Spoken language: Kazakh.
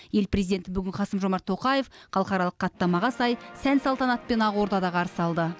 ел президентін бүгін қасым жомарт тоқаев халықаралық хаттамаға сай сән салтанатпен ақордада қарсы алды